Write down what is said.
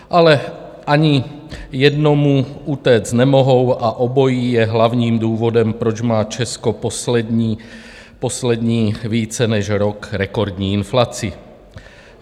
Ale ani jednomu utéct nemohou a obojí je hlavním důvodem, proč má Česko poslední více než rok rekordní inflaci.